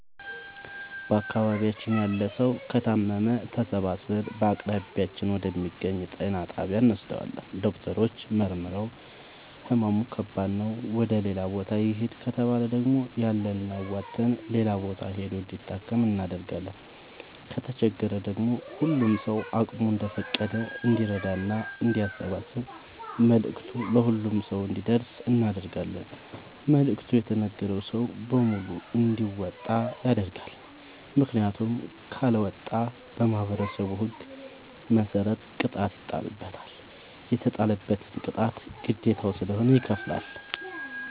በአካባቢያችን ያለ ሠዉ ከታመመ ተሠባስበን በአቅራቢያችን ወደ ሚገኝ ጤና ጣቢያ እንወስደዋለን። ዶክተሮች መርምረዉ ህመሙ ከባድ ነዉ ወደ ሌላ ቦታ ይህድ ከተባለ ደግሞ ያለንን አዋተን ሌላ ቦታ ሂዶ እንዲታከም እናደርጋለን። ከተቸገረ ደግሞ ሁሉም ሰዉ አቅሙ እንደፈቀደ እንዲራዳና አንዲያሰባስብ መልዕክቱ ለሁሉም ሰው አንዲደርሰው እናደርጋለን። መልዕክቱ የተነገረዉ ሰዉ በሙሉ እንዲያወጣ ይገደዳል። ምክንያቱም ካለወጣ በማህበረሠቡ ህግ መሰረት ቅጣት ይጣልበታል። የተጣለበትን ቅጣት ግዴታዉ ስለሆነ ይከፍላል።